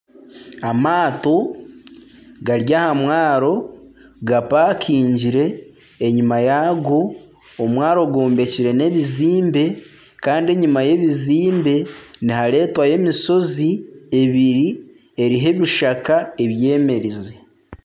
Amaato gari aha mwaaro gapakingire enyuma yaago omwaaro gwombekire n'ebizimbe kandi enyuma y'ebizimbe niharetwayo emishozi ebiri eriho ebishaka ebyemerize.